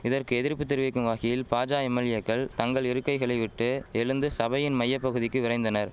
இதற்கு எதிர்ப்பு தெரிவிக்கும் வகையில் பாஜா எம்எல்ஏக்கள் தங்கள் இருக்கைகளை விட்டு எழுந்து சபையின் மைய பகுதிக்கு விரைந்தனர்